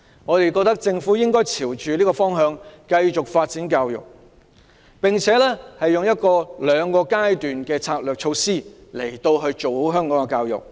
我們認為政府應朝着這個方向繼續發展教育，並以兩個階段策略實施，然後辦好香港的教育。